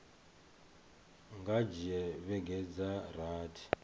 nga dzhia vhege dza rathi